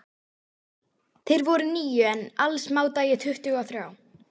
Þeir voru níu, en alls mátaði ég tuttugu og þrjá.